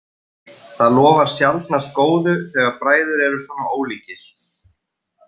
Það lofar sjaldnast góðu þegar bræður eru svona ólíkir.